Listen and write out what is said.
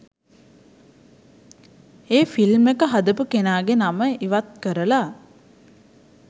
ඒ ‍film එක හදපු කෙනාගේ නම ඉවත් කරලා